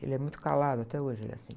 Ele é muito calado até hoje, ele é assim.